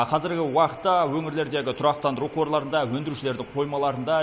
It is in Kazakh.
қазіргі уақытта өңірлердегі тұрақтандыру қорларында өндірушілердің қоймаларында